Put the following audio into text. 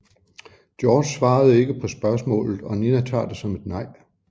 George svarer ikke på spørgsmålet og Nina tager det som et nej